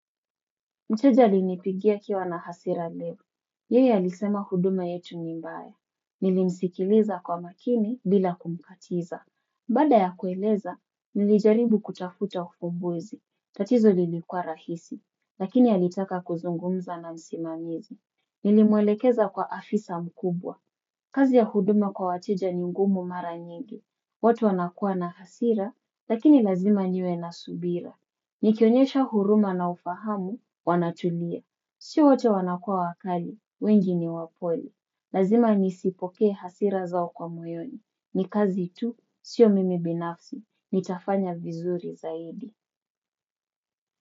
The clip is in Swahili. Mteja alinipigia akiwa na hasira leo. Yeye alisema huduma yetu nimbaye. Nilimsikiliza kwa makini bila kumkatiza. Baada ya kueleza, nilijaribu kutafuta ufubuzi. Tatizo lilikua rahisi, lakini alitaka kuzungumza na msimamizi. Nilimwelekeza kwa afisa mkubwa. Kazi ya huduma kwa wateja ni ngumu mara nyingi. Watu wanakua na hasira, lakini lazima niwe na subira. Nikionyesha huruma na ufahamu, wanatulia. Sio wote wanakua wakali, wengi ni wapole. Lazima nisipokee hasira zao kwa moyoni. Nikazi tu, sio mimi binafsi, nitafanya vizuri zaidi.